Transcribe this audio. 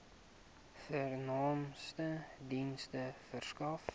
vernaamste dienste verskaf